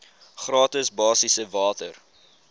gratis basiese water